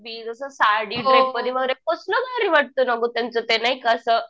जसं साडी कसलं भारी वाटतंय ना गं त्यांचं ते एक असं